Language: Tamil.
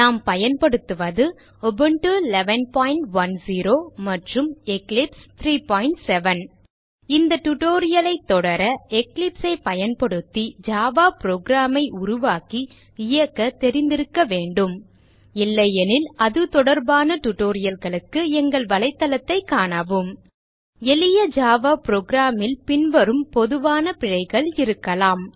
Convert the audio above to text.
நாம் பயன்படுத்துவது உபுண்டு 1110 மற்றும் எக்லிப்ஸ் 37 இந்த tutorial ஐ தொடர Eclipse ஐ பயன்படுத்தி ஜாவா புரோகிராம் ஐ உருவாக்கி இயக்க தெரிந்திருக்க வேண்டும் இல்லையெனில் அது தொடர்பான tutorial க்கு எங்கள் தளத்தைக் காணவும்1 எளிய ஜாவா program ல் பின்வரும் பொதுவான பிழைகள் இருக்கலாம்